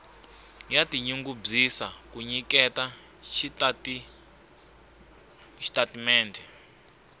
ya tinyungubyisa ku nyiketa xitatimendhe